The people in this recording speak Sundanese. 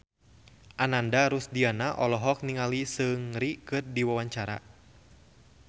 Ananda Rusdiana olohok ningali Seungri keur diwawancara